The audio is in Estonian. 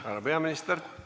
Härra peaminister!